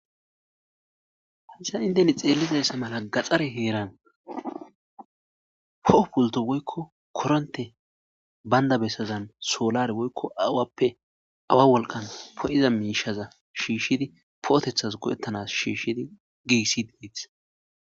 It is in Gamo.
haysan inte xeellizayssa mala gaxare heeran poho pulto woykko koronte baynda bessazan soolare woykko awappe awa wolqan po'iza miishaza shiishshidi pootethas godettanas shiishshidi giissid dettes